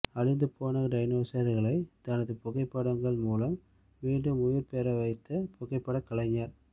அழிந்து போன டைனோசர்களை தனது புகைப்படங்கள் மூலம் மீண்டும் உயிர் பெற வைத்த புகைப்பட கலைஞர்